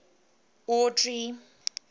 audrey